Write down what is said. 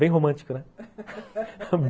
Bem romântico, né?